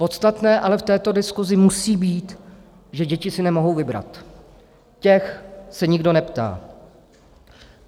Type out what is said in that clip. Podstatné ale v této diskusi musí být, že děti si nemohou vybrat, těch se nikdo neptá.